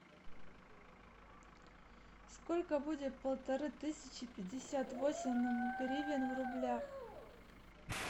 сколько будет полторы тысячи пятьдесят восемь гривен в рублях